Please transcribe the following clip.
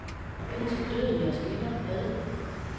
Indtil døden skiller jer ad.